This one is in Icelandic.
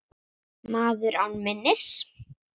Maður án minnis.